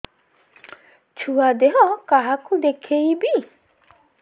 ଛୁଆ ଦେହ କାହାକୁ ଦେଖେଇବି